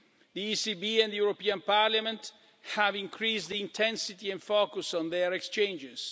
The ECB and the European Parliament have increased the intensity and focus of their exchanges.